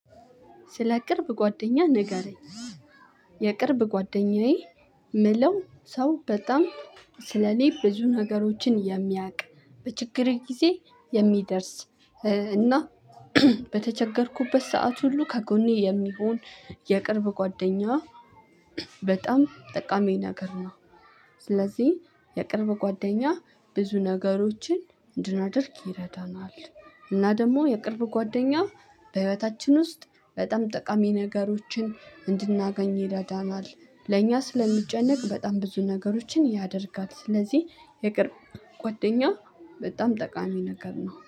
ስለ ቅርብ ጓደኛ ንገረኝ የቅርብ ጓደኛዬ ምለው ሰው በጣም ስለእኔ ብዙ ነገሮችን የሚያውቅ በችግር ጊዜ የሚደርስ እና በተቸገርኩበት ሰዓት ሁሉ ከጎኔ የሚሆን የቅርብ ጓደኛ በጣም ጠቃሚ ነገር ነው። ስለዚህ የቅርብ ጓደኛ ብዙ ነገሮችን እንድናደርግ ይረዳናል። እና ደግሞ የቅርብ ጓደኛ በህይወታችን ውስጥ በጣም ጠቃሚ ነገሮችን እንድናገኝ ይረዳናል ለእኛ ስለሚጨነቅ በጣም ብዙ ነገሮችን ያደርጋል። ስለዚህ የቅርብ ጎደኛ በጣም ጠቃሚ ነገር ነው